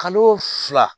Kalo fila